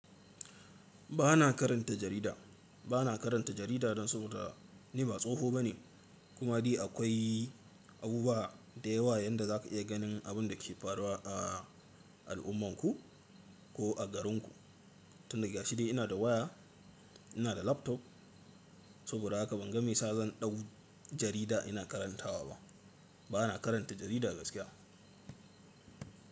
Ba na karanta jarida, ba na karanta jarida don saboda ni ba tsoho ba ne. Kuma dai akwai abubuwa da yawa yanda za ka iya ganin abun da ke faruwa a al'ummanku ko a garinku. Tun da gashi dai ina da waya, ina da laptop, saboda haka ban ga me sa zan ɗau jarida ina karantawa ba. Ba na karanta jarida gaskiya.